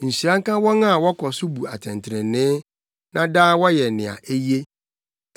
Nhyira nka wɔn a wɔkɔ so bu atɛntrenee, na daa wɔyɛ nea eye.